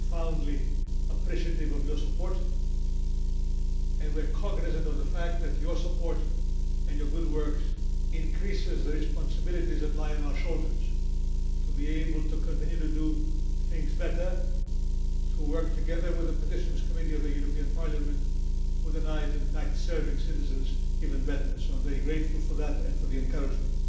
We are profoundly appreciative of your support and are cognisant of the fact that your support and your good work increase the responsibilities that lie on our shoulders to be able to continue to do things better and work together with the Committee on Petitions of the European Parliament with a view to serving citizens even better. I am very grateful for that and for your encouragement.